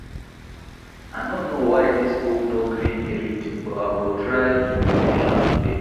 I no know why dis book no gree me read but I go try finish am today